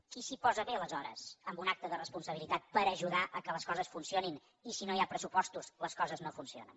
qui s’hi posa bé aleshores en un acte de responsabilitat per ajudar que les coses funcionin i si no hi ha pressupostos les coses no funcionen